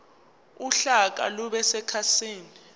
uhlaka lube sekhasini